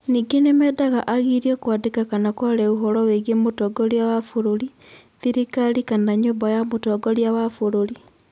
Ningĩ nĩ meendaga agirio kwandĩka kana kwaria ũhoro wĩgiĩ Mũtongoria wa bũrũri, thirikari kana nyũmba ya Mũtongoria wa bũrũri.